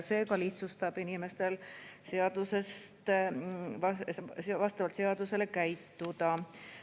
See lihtsustab inimestel vastavalt seadusele käituda.